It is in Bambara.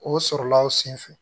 O sɔrɔla o sen fɛ